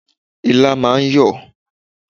Ilá máà ń yọ̀.